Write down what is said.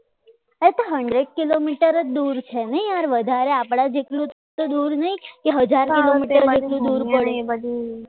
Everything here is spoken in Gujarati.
એ તો hundred કિલોમીટર જ દૂર છે નહીં યાર આ વધારે આપણા જેટલું તો દૂર નહીં કે હજાર કિલોમીટર દૂર પડે